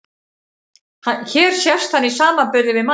Hér sést hann í samanburði við manneskju.